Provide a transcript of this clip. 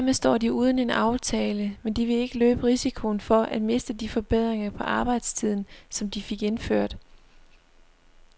Dermed står de uden en aftale, men de vil ikke løbe risikoen for at miste de forbedringer på arbejdstiden, som de fik indført.